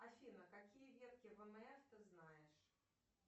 афина какие ветки вмф ты знаешь